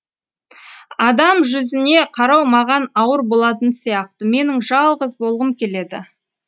адам жүзіне қарау маған ауыр болатын сияқты менің жалғыз болғым келеді